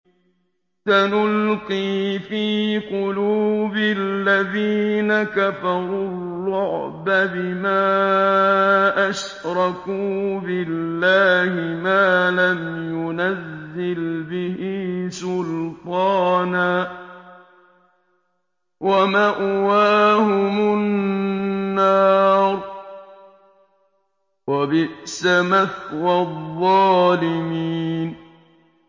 سَنُلْقِي فِي قُلُوبِ الَّذِينَ كَفَرُوا الرُّعْبَ بِمَا أَشْرَكُوا بِاللَّهِ مَا لَمْ يُنَزِّلْ بِهِ سُلْطَانًا ۖ وَمَأْوَاهُمُ النَّارُ ۚ وَبِئْسَ مَثْوَى الظَّالِمِينَ